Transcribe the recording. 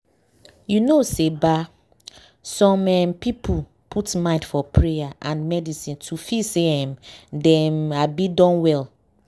you know say ba some em people put mind for prayer and medicine to feel say em dem abi don well.